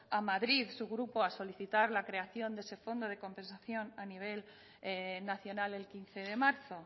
a madrid su grupo a solicitar la creación de ese fondo de compensación a nivel nacional el quince de marzo